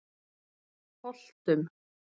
Holtum